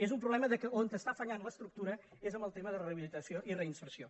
és un problema que on està fallant l’estructura és en el tema de la rehabilitació i reinserció